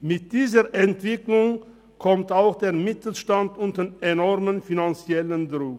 Mit dieser Entwicklung kommt auch der Mittelstand unter enormen finanziellen Druck.